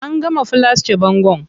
An gama filasce bangon.